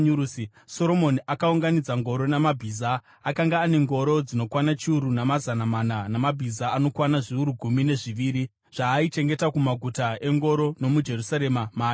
Soromoni akaunganidza ngoro namabhiza; akanga ane ngoro dzinokwana chiuru namazana mana namabhiza anokwana zviuru gumi nezviviri, zvaaichengeta kumaguta engoro nomuJerusarema maaivawo.